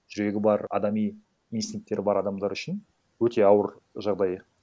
жүрегі бар адами инстинкттері бар адамдар үшін өте ауыр жағдай